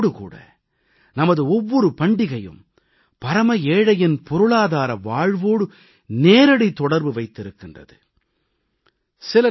ஆனால் இதோடு கூட நமது ஒவ்வொரு பண்டிகையும் பரம ஏழையின் பொருளாதார வாழ்வோடு நேரடி தொடர்பு வைத்திருக்கின்றது